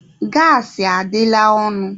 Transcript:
Gaasị adịla ọnụ.